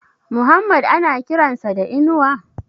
Muhammad ana kiran sa da Inuwa?